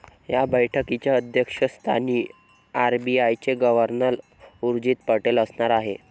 या बैठकीच्या अध्यक्षस्थानी आरबीआयचे गव्हर्नर उर्जित पटेल असणार आहेत.